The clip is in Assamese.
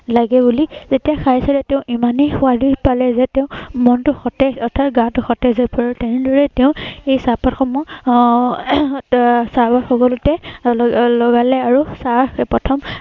লাগে বুলি। যেতিয়া খাই চায় তেওঁ ইমানেই সোৱাদ পালে যে তেওঁৰ মনতো সতেজ অৰ্থাৎ গাটো সতেজ হৈ পৰে আৰু তেনে ধৰনে তেওঁ এই চাহ পাত সমূহ আহ এৰ চাহ গছ সকলোতে ললগালে আৰু এৰ চাহ প্ৰথম